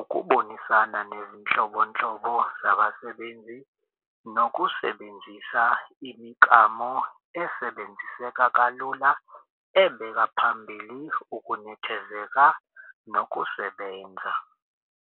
ukubonisana nezinhlobonhlobo zabasebenzi, nokusebenzisa imiklamo esebenziseka kalula ebeka phambili ukunethezeka nokusebenza.